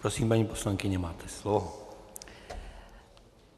Prosím, paní poslankyně, máte slovo.